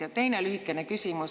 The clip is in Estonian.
Ja teine lühikene küsimus …